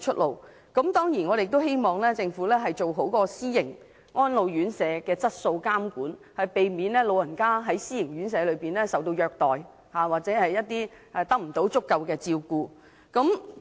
我們當然亦希望政府做好私營安老院舍的質素監管，避免長者在私營院舍受到虐待或得不到足夠的照顧。